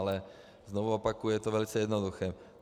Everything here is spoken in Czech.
Ale znovu opakuji, je to velice jednoduché.